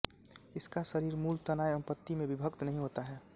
इसका शरीर मूल तना एवं पत्ति में विभक्त नहीं होता है